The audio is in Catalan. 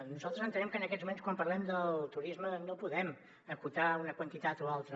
nosaltres entenem que en aquests moments quan parlem del turisme no podem acotar una quantitat o altra